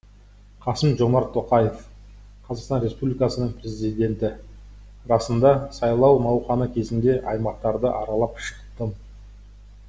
қасым жомарт тоқаев қазақстан республикасының президенті расында сайлау науқаны кезінде аймақтарды аралап шықтым